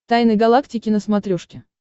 тайны галактики на смотрешке